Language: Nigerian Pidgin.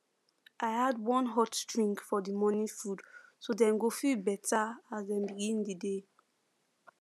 i add one hot drink for the morning food so dem go feel better as dem begin the day